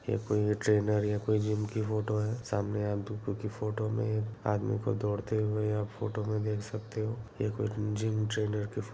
ये कोई एक ट्रेनर या कोई जिम की फोटो है सामने आप फोटो में आदमी को दौड़ते हुए आप फोटो में देख सकते हो ये कोई जिम ट्रेनर की फ़ो --